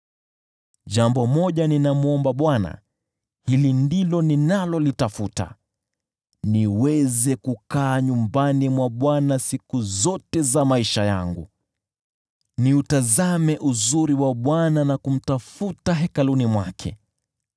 Jambo moja ninamwomba Bwana , hili ndilo ninalolitafuta: niweze kukaa nyumbani mwa Bwana siku zote za maisha yangu, niutazame uzuri wa Bwana na kumtafuta hekaluni mwake.